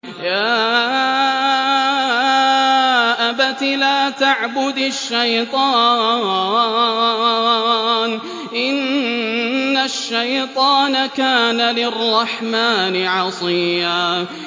يَا أَبَتِ لَا تَعْبُدِ الشَّيْطَانَ ۖ إِنَّ الشَّيْطَانَ كَانَ لِلرَّحْمَٰنِ عَصِيًّا